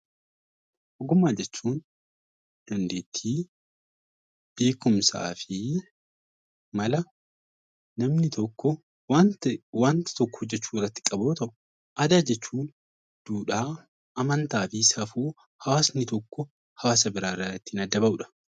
Ogummaa jechuun dandeettii beekumsaa fi mala namni tokko wanta tokko hojjachuu irratti qabu yoo ta'u, aadaa jechuun duudhaa, amantaa fi safuu hawaasni tokko hawaasa biraarraa ittiin adda bahudha.